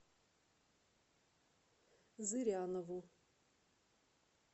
зырянову